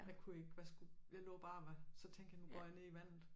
Jeg kunne ikke hvad skulle jeg lå bare og var så tænkte jeg nu går jeg ned i vandet